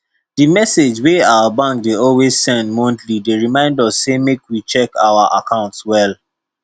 the message wey our bank dey always send monthly dey remind us say make we check our account well